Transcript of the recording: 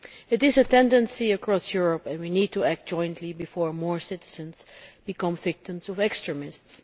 It is a tendency across Europe, and we need to act jointly before more citizens become victims of extremists.